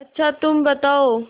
अच्छा तुम बताओ